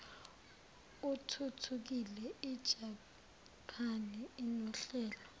athuthukile ijaphani inohlelo